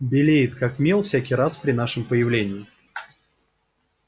белеет как мел всякий раз при нашем появлении